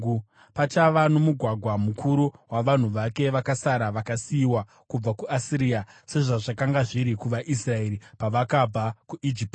Pachava nomugwagwa mukuru wavanhu vake vakasara, vakasiyiwa kubva kuAsiria, sezvazvakanga zviri kuvaIsraeri pavakabva kuIjipiti.